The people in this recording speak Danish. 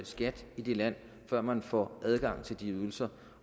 skat i det land før man får adgang til de ydelser